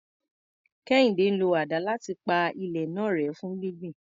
Kehinde ń lo àdá láti pa ilẹ̀ náà rẹ́ fún gbígbìn.